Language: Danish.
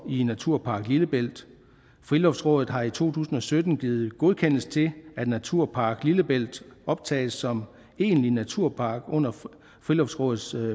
i naturpark lillebælt friluftsrådet har i to tusind og sytten givet godkendelse til at naturpark lillebælt optages som en egentlig naturpark under friluftsrådets